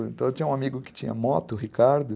Então eu tinha um amigo que tinha moto, Ricardo.